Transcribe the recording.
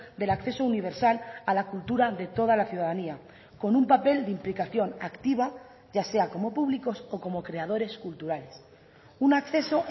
del acceso universal a la cultura de toda la ciudadanía con un papel de implicación activa ya sea como públicos o como creadores culturales un acceso